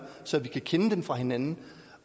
så vi kan kende dem fra hinanden